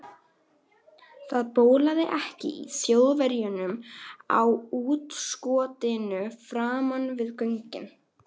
Það bólaði ekki á Þjóðverjunum á útskotinu framan við göngin.